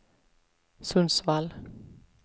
Sundsvall